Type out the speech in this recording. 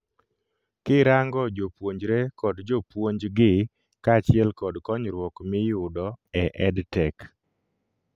Kirango jopuonjre kod jopuonj gi kachiel kod konyruok miyudo e EdTech